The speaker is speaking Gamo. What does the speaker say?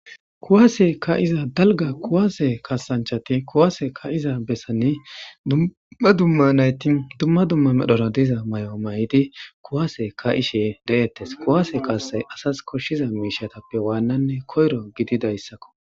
Kuase kaeza daliga kuase kasanchati kuase kaeza besani dumma dumma nayiti dumma dumma medhora deiza mayo mayidi kuasiy kaeshe deates kuase kasay asas koshiza miishshatappe wananne kayiro gidizayisakko.